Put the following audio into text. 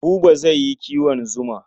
Buba zai yi kiwon zuma.